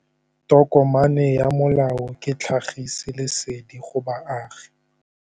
Tokomane ya molao ke tlhagisi lesedi go baagi.